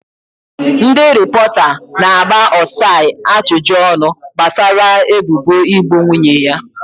Ndị rịpọta na-agba Osai ajụjụ ọnụ gbasara ebubo igbu nwunye ya.